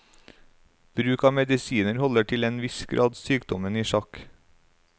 Bruk av medisiner holder til en viss grad sykdommen i sjakk.